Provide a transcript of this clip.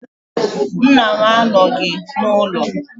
Nna m anọghị n’ụlọ